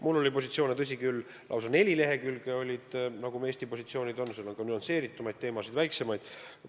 Mul oli Eesti positsioone kirjas lausa neli lehekülge, seal on kajastatud ka nüansseeritumad, väiksemad teemad.